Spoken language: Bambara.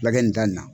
Lagɛ nin da in na